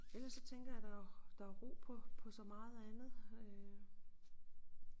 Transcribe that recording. Ellers så tænker jeg der er der er ro på på så meget andet øh